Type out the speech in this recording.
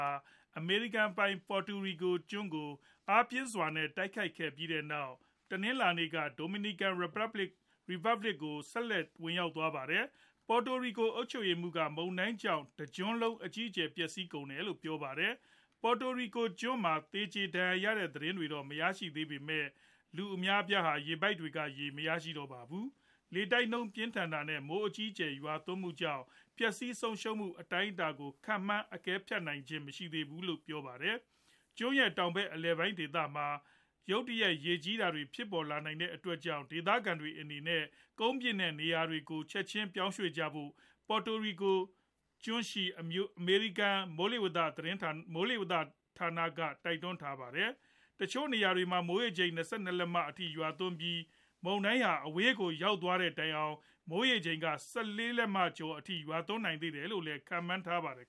ာ အမေရိကန်ပိုင် Puerto Rico ကျွန်းကို အားပြင်းစွာနဲ့ တိုက်ခတ်ခဲ့ပြီးနောက် တနင်္လာနေ့က Dominican Republic နိုင်ငံကို ဆက်လက် ဝင်ရောက်သွားပါတယ်။ Puerto Rico အုပ်ချုပ်ရေးမှူးက မုန်တိုင်းကြောင့် တကျွန်းလုံး အကြီးအကျယ် ပျက်စီးကုန်တယ်လို့ ပြောပါတယ်။ Puerto Rico ကျွန်းမှာ သေကြေ ဒဏ်ရာရရှိတဲ့ သတင်းတွေတော့ မရရှိသေးပေမယ့် လူအများအပြားဟာ ရေပိုက်တွေက ရေမရရှိတော့ပါဘူး။ လေတိုက်နှုန်းပြင်းထန်တာ နဲ့ မိုးအကြီးအကျယ်ရွာသွန်းမှုကြောင့် ပျက်စီးဆုံးရှုံးမှု အတိုင်းအတာကို ခန့်မှန်း အကဲဖြတ်နိုင်ခြင်းမရှိသေးပါဘူး။ ကျွန်းရဲ့ တောင်ဖက် အလယ်ပိုင်းဒေသမှာ ရုတ်တရက် ရေကြီးတာတွေ ဖြစ်လာနေတဲ့အတွက်ကြောင့် ဒေသခံတွေအနေနဲ့ ကုန်းမြင့်တဲ့နေရာတွေကို ချက်ချင်း ပြောင်းရွှေ့ကြဖို့ Puerto Rico ကျွန်းရှိ အမေရိကန် မိုလေဝသဌာန က တိုက်တွန်းထားပါတယ်။ တချို့နေရာတွေမှာ မိုရေချိန် ၂၂ လက္မ အထိရွာသွန်းပြီး မုန်တိုင်းဟာ အဝေးကို ရောက်သွားတဲ့တိုင်အောင် မိုးရေချိန်က ၁၄ လက္မကျော်အထိ ရွာသွန်းနိုင်သေးတယ်လို့လည်း ခန့်မှန်းထားပါတယ်